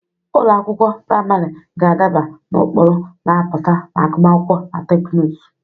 Ụlọ akwụkwọ praịmarị ga-adaba n'ụkpụrụ na-apụta na agụmakwụkwọ na teknụzụ.